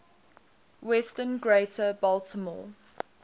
western greater baltimore